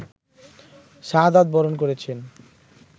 শাহাদাত বরণ করেছেন